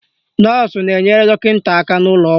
Nọọsụ na-enyere dọkịta aka n'ụlọ ọgwụ